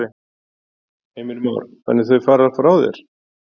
Heimir Már: Þannig þau fara frá þér?